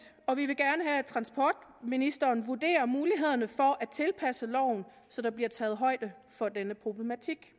og vi vil gerne have at transportministeren vurderer mulighederne for at tilpasse loven så der bliver taget højde for denne problematik